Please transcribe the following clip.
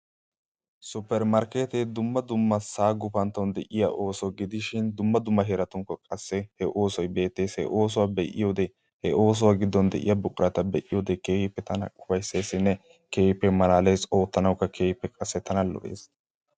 Suppermarkkeettee dumma dumma sa'a gufantton de'iya ooso gidishin dumma dumma heerattunkka qassi he oosoy beettes. He oosuwa be'iyoode he oosuwa giddon de'iya buqurata be'iyoode keehippe tana ufayittesinne keehippe malaales. Oottanawukka keehippe qassi tana lo'ees.